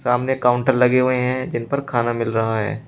सामने काउंटर लगे हुए हैं जिन पर खाना मिल रहा है।